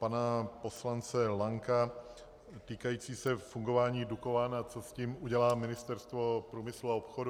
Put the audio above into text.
Pana poslance Lanka týkající se fungování Dukovan, a co s tím udělá Ministerstvo průmyslu a obchodu.